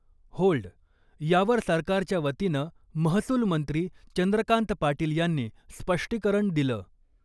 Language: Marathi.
होल्ड यावर सरकारच्या वतीनं महसूल मंत्री चंद्रकांत पाटील यांनी स्पष्टीकरण दिलं .